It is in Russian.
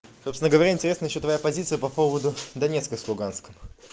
собственно говоря интересно ещё твоя позиция по поводу донецка с луганском